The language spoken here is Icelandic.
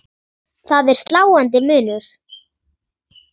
Það er sláandi munur.